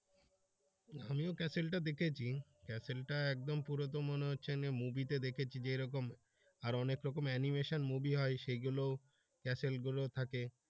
আমিও castle টা দেখেছি castle টা একদম পুরো তো মনে হচ্ছে movie তে দেখেছি যেরকম আরো অনেক রকমের animation movie হয় সেগুলোও castle গুলো থাকে।